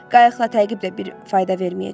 Qayıqla təqib də bir fayda verməyəcəkdi.